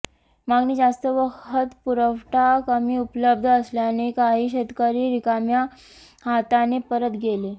मागणी जास्त व खत पुरवठा कमी उपलब्ध असल्याने काही शेतकरी रिकाम्या हाताने परत गेले